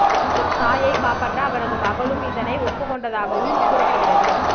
தனது தாயை காப்பற்ற அவரது மகளும் இதனை ஒப்புக் கொண்டதாகவும் கூறப்படுகிறது